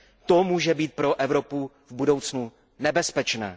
To může být pro Evropu v budoucnu nebezpečné.